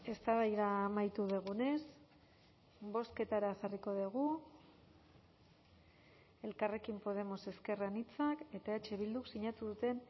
eztabaida amaitu dugunez bozketara jarriko dugu elkarrekin podemos ezker anitzak eta eh bilduk sinatu duten